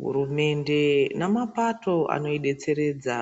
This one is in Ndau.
Hurumende nemapato anodetseredza